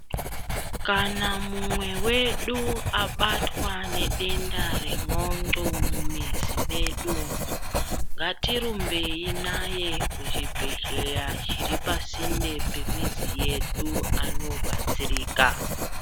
Kana mumwe wedu abatwa nedenda rendxondo mumizi medu umu ngatirumbeyi naye kuchibhedhleya chiri pasinde pemizi yedu andobatsirika.